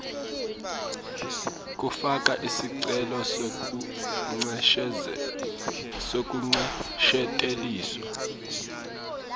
kufaka sicelo sekuncesheteliselwa